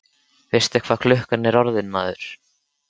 Veistu ekki hvað klukkan er orðin, maður?